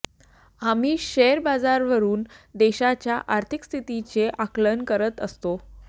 आम्ही शेअर बाजारावरून देशाच्या आर्थिक स्थितीचे आकलन करत असतो